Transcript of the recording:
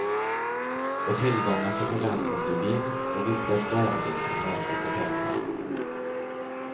Och tillgångar som förväntas ge vinst och vilkas värde kan mätas i pengar.